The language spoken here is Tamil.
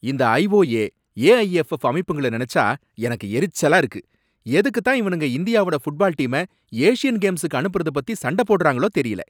இந்த ஐஓஏ, ஏஐஎஃப்எஃப் அமைப்புங்கள நனைச்சா எனக்கு எரிச்சலா இருக்கு, எதுக்கு தான் இவனுங்க இந்தியாவோட ஃபுட்பால் டீம ஏசியன் கேம்ஸுக்கு அனுப்பறத பத்தி சண்டை போடுறாங்களோ தெரியல.